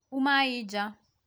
umai ja